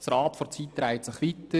Das Rad der Zeit dreht sich weiter.